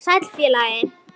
Sæll, félagi